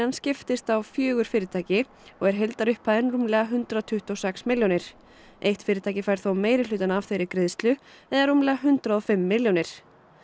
skiptist á fjögur fyrirtæki og er heildarupphæðin rúmlega hundrað tuttugu og sex milljónir eitt fyrirtæki fær þó meirihlutann af þeirri greiðslu eða rúmlega hundrað og fimm milljónir